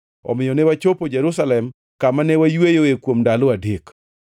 Omiyo ne wachopo Jerusalem, kama ne wayweyoe kuom ndalo adek.